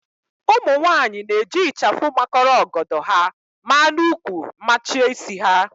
Ụmụnwaanyị na-eji ịchafụ makọrọ ọgọdọ ha ma n'úkwù machie isi ha